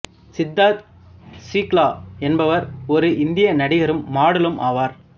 சித்தார்த் ஷுக்லா என்பவர் ஒரு இந்திய நடிகரும் மாடலும் ஆவார்